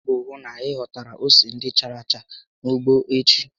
Gbaa mbọ hụ na ị ghọtara ose ndị chárá acha n'ugbo echi!